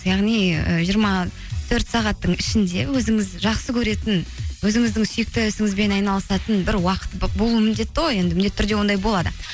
яғни ы жиырма төрт сағаттың ішінде өзіңіз жақсы көретін өзіңіздің сүйікті ісіңізбен айналысатын бір уақыт болуы міндетті ғой енді міндетті түрде ондай болады